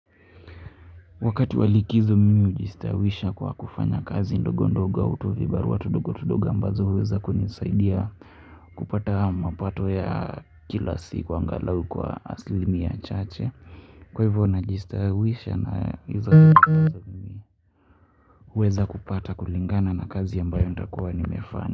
Wakati wa likizo mimi hujistawisha kwa kufanya kazi ndogo ndogo au tuvibarua tundogo ndogo ambazo huweza kunisaidia kupata mapato ya kila siku angalau kwa aslimia chache. Kwa hivyo najistawisha na ndogo ndogo kuweza kupata kulingana na kazi ambayo nitakuwa nimefanya.